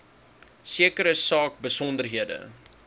sekere saak besonderhede